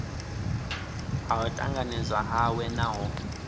ha u tanganedzwa hawe naho